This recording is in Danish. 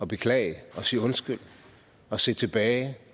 beklage sige undskyld og se tilbage